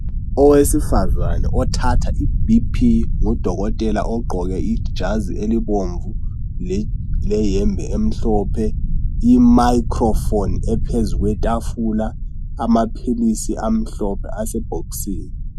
Owesifazana othatha iBP ngudokotela ogqoke ijazi elibomvu leyembe emhlophe imakhilofoni ephezulu kwetafula amaphilisi amhlophe asebhokisini.